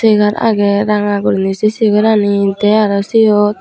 chegar agey ranga gurine se chair ani te aro siyot.